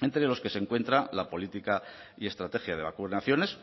entre los que se encuentra la política y estrategia de vacunaciones